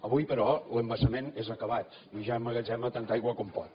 avui però l’embassament és acabat i ja emmagatzema tanta aigua com pot